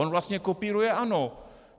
On vlastně kopíruje ANO.